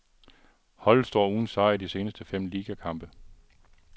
Holdet står uden sejr i de seneste fem ligakampe.